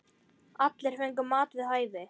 Allir fengu mat við hæfi.